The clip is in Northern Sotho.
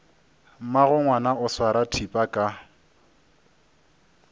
mmagongwana o swara thipa ka